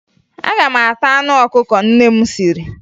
Aga m ata anụ ọkụkọ nne m siri